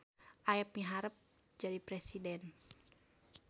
Aep miharep jadi presiden